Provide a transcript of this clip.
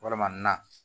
Walama na